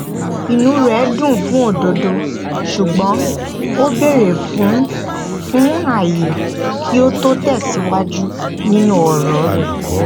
inú rẹ dùn fún òdodo ṣùgbọn ó béèrè fún fún ayé kí ó tó tẹsíwájú nínú ọrọ rẹ